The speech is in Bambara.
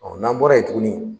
n'an bɔra yen tuguni.